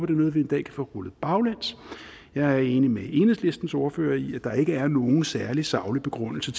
er noget vi en dag kan få rullet baglæns jeg er enig med enhedslistens ordfører i at der ikke er nogen særlig saglig begrundelse